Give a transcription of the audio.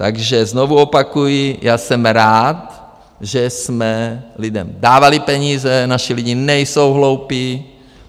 Takže znovu opakuji, já jsem rád, že jsme lidem dávali peníze, naši lidi nejsou hloupí.